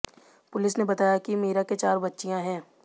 police ने बताया कि मीरा के चार बच्चियां हैं